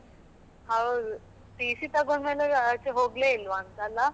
ಹೌದು TC ತಗೊಂಡ ಮೇಲೆ ಆಚೆ ಹೋಗ್ಲೇ ಇಲ್ಲವ ಅಂತ ಅಲಾ.